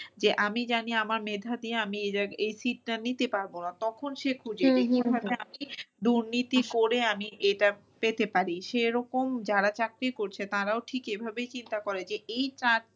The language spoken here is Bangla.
যে আমি জানি আমার মেধা দিয়ে আমি এই sit টা নিতে পারবো না তখন সে খুঁজে আমি দুর্নীতি করে আমি এটা পেতে পারি। সে এরকম যারা চাকরি করছে তারাও ঠিক এভাবেই চিন্তা করে যে এই